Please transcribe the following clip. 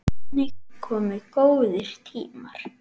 En einnig komu góðir tímar.